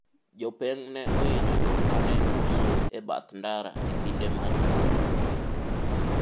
jopeng' ne ohinyo jok mane uso e bath ndara e kinde mag ng'anyo